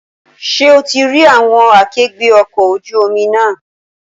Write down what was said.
Ṣé o ti rí àwọn akẹgbẹ́ ọkọ̀ ojú omi náà?